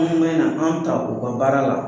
Anw bɛna an ta u ka baara la.